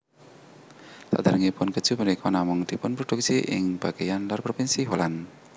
Saderengipun keju punika namung dipunproduksi ing bageyan lor propinsi Holland